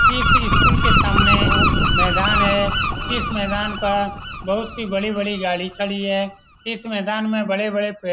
इस स्कूल के सामने मैदान है इस मैदान पर बहुत सी बड़ी-बड़ी गाड़ी खड़ी है इस मैदान में बड़े बड़े पेड़--